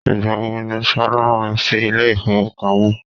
Ìgbà wo ni Ṣolá ń lọ sí ilé ifowopamo?